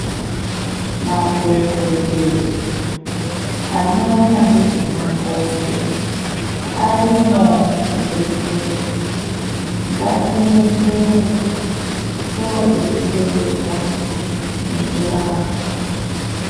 Madhokodheya anoona ngezve makodo arimwo muzvibhedhlera ngatiende yo tinodetserwa ngekurapwa.